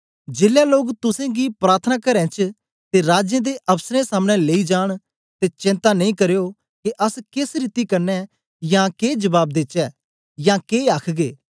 जेलै लोक तुसेंगी प्रार्थनाकारें च ते राजें ते अफ्सरें सामने लेई जान ते चेंता नेई करयो के अस केस रीति कन्ने या के जबाब देचै या के आखगे